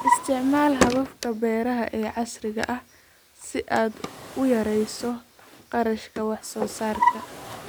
Isticmaal hababka beeraha ee casriga ah si aad u yarayso kharashka wax soo saarka.